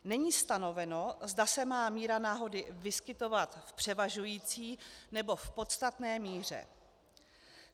Není stanoveno, zda se má míra náhody vyskytovat v převažující nebo v podstatné míře.